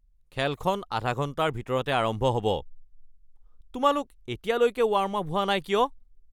খেলখন আধা ঘণ্টাৰ ভিতৰতে আৰম্ভ হ'ব। তোমালোক এতিয়ালৈকে ৱাৰ্ম আপ হোৱা নাই কিয়?